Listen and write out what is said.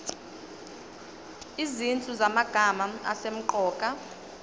izinhlu zamagama asemqoka